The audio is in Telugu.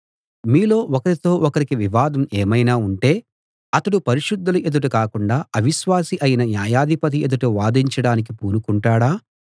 మీలో ఒకరితో ఒకరికి వివాదం ఏమైనా ఉంటే అతడు పరిశుద్ధుల ఎదుట కాకుండా అవిశ్వాసి అయిన న్యాయాధిపతి ఎదుట వాదించడానికి పూనుకుంటాడా